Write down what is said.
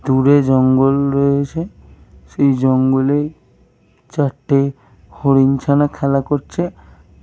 দূরে জঙ্গলে রয়েছে। সেই জঙ্গলে চারটে হরিণ ছানা খেলা করছে।